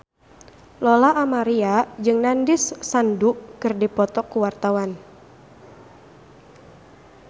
Lola Amaria jeung Nandish Sandhu keur dipoto ku wartawan